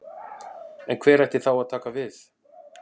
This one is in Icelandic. En hver ætti þá að taka við?